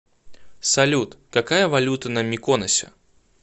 салют какая валюта на миконосе